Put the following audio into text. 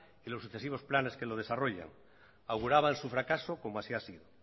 y los sucesivos planes que los desarrollan auguraban su fracaso como así ha sido